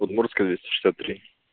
удмуртская двести шестьдесят три